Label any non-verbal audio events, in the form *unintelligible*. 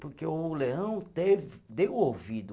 Porque o Leão *unintelligible* deu ouvido.